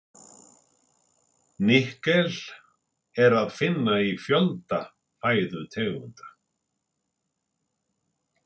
Nikkel er að finna í fjölda fæðutegunda.